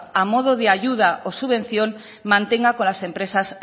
a modo de ayuda o subvención mantenga con las empresas